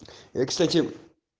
я кстати